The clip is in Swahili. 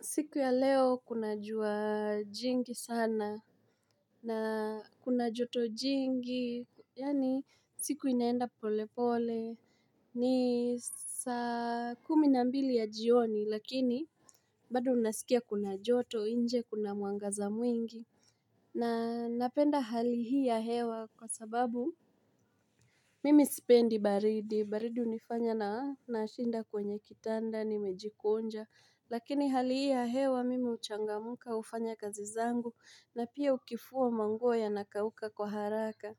Siku ya leo kuna jua jingi sana na kuna joto jingi yaani siku inaenda pole pole ni saa kumi na mbili ya jioni lakini bado unasikia kuna joto nje kuna mwangaza mwingi na napenda hali hii ya hewa kwa sababu Mimi sipendi baridi, baridi hunifanya na nashinda kwenye kitanda, nimejikunja, lakini hali hii ya hewa mimi huchangamka hufanya kazi zangu, na pia ukifua manguo yanakauka kwa haraka.